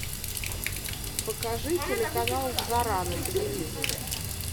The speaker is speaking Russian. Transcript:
покажи телеканал жара на телевизоре